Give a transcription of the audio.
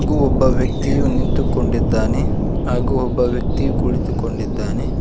ಹಾಗೂ ಒಬ್ಬ ವ್ಯಕ್ತಿಯು ನಿಂತು ಕೊಂಡಿದ್ದಾನೆ ಹಾಗೂ ಒಬ್ಬ ವ್ಯಕ್ತಿಯು ಕುಳಿತು ಕೊಂಡಿದ್ದಾನೆ.